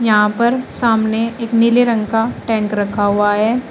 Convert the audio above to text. यहां पर सामने एक नीले रंग का टैंक रखा हुआ है।